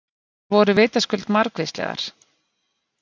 Athugasemdirnar voru vitaskuld margvíslegar.